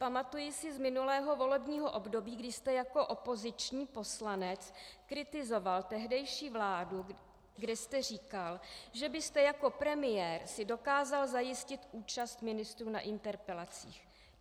Pamatuji si z minulého volebního období, kdy jste jako opoziční poslanec kritizoval tehdejší vládu, kdy jste říkal, že byste jako premiér si dokázal zajistit účast ministrů na interpelacích.